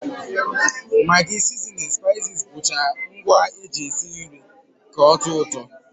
Magi, sizinin, spaiziz bụcha ngwa e jizi esi nri taa ka ọ tọọ ụtọ